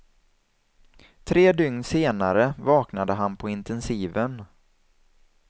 Tre dygn senare vaknade han på intensiven.